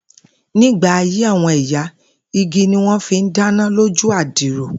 Nígbà ayé àwo̩n ìyá, igi ni wó̩n fi ń dáná lójú àdìrò